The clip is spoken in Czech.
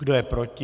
Kdo je proti?